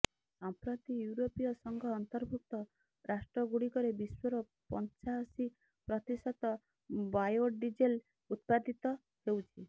ସଂପ୍ରତି ଇଉରୋପୀୟ ସଂଘ ଅନ୍ତଭୁର୍କ୍ତ ରାଷ୍ଟ୍ରଗୁଡ଼ିକରେ ବିଶ୍ୱର ପାଞ୍ଚାଅଶୀ ପ୍ରତିଶତ ବାୟୋଡ଼ିଜେଲ୍ ଉତ୍ପାଦିତ ହେଉଛି